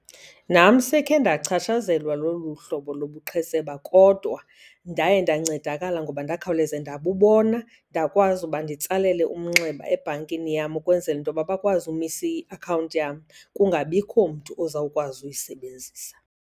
Nam sekhe ndachatshazelwa lolu hlobo lobuqhetseba kodwa ndaye ndancedakala ngoba ndakhawuleza ndabubona ndakwazi uba nditsalele umnxeba ebhankini yam ukwenzela into yoba bakwazi umisa iakhawunti yam kungabikho mntu ozawukwazi uyisebenzisa.